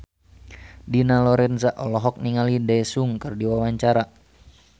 Dina Lorenza olohok ningali Daesung keur diwawancara